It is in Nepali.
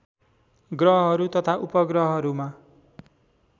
ग्रहहरू तथा उपग्रहहरूमा